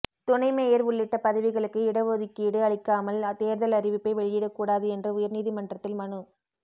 துணை மேயா் உள்ளிட்ட பதவிகளுக்கு இடஒதுக்கீடு அளிக்காமல் தோ்தல் அறிவிப்பை வெளியிடக்கூடாது என்று உயா்நீதிமன்றத்தில் மனு